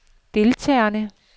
deltagerne